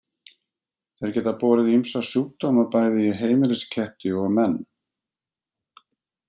Þeir geta borið ýmsa sjúkdóma bæði í heimilisketti og menn.